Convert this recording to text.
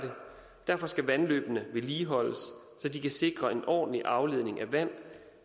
derfor skal vandløbene vedligeholdes så de kan sikre en ordentlig afledning af vand